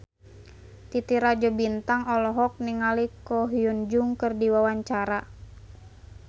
Titi Rajo Bintang olohok ningali Ko Hyun Jung keur diwawancara